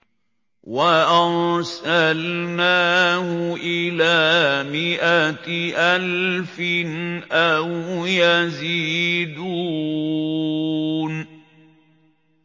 وَأَرْسَلْنَاهُ إِلَىٰ مِائَةِ أَلْفٍ أَوْ يَزِيدُونَ